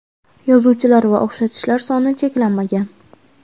Yozuvchilar va o‘xshatishlar soni cheklanmagan.